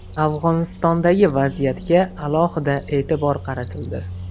Afg‘onistondagi vaziyatga alohida e’tibor qaratildi.